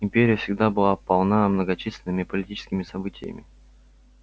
империя всегда была полна многочисленными политическими событиями